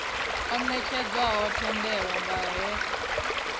o netshedzwaho thendelo nga ner